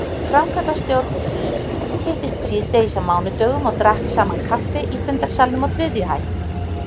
Framkvæmdastjórn SÍS hittist síðdegis á mánudögum og drakk saman kaffi í fundarsalnum á þriðju hæð.